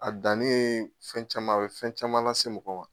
A dan ne ye fɛn caman a bɛ fɛn caman lase mɔgɔ ma.